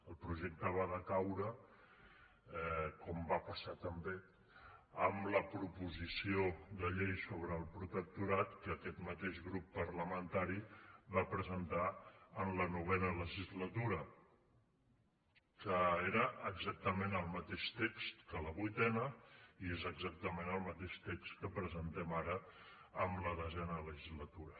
el projecte va decaure com va passar també amb la proposició de llei sobre el protectorat que aquest mateix grup parlamentari va presentar en la novena legislatura que era exactament el mateix text que a la vuitena i és exactament el mateix text que presentem ara en la desena legislatura